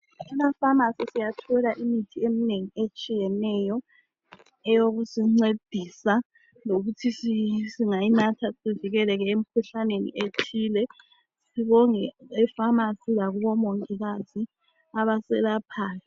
Emapharmacy siyathola imithi eminengi etshiyeneyo eyokusincedisa lokuthi singayinatha sivikeleke emikhuhlaneni ethile. Sibonge epharmacy lakubomongikazi abaselaphayo.